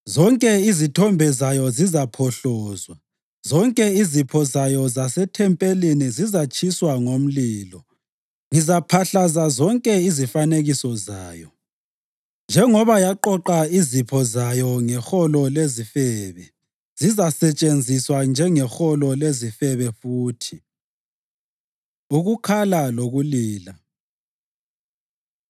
Zonke izithombe zayo zizaphohlozwa; zonke izipho zayo zasethempelini zizatshiswa ngomlilo; ngizaphahlaza zonke izifanekiso zayo. Njengoba yaqoqa izipho zayo ngeholo lezifebe, zizasetshenziswa njengeholo lezifebe futhi.” Ukukhala Lokulila